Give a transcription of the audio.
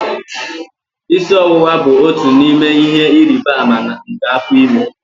Isi ọwụwa bụ otu n'ime ihe ịrịba ama nke afọ ime